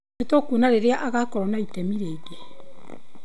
Nĩ tũkuona rĩrĩa agaakorũo na itemi rĩngĩ.'